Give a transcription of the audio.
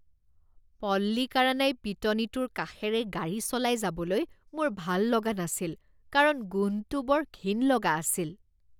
পল্লিকাৰানাই পিটনিটোৰ কাষেৰে গাড়ী চলাই যাবলৈ মোৰ ভাল লগা নাছিল কাৰণ গোন্ধটো বৰ ঘিণ লগা আছিল।